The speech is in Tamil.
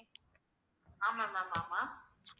ஆமா ma'am ஆமா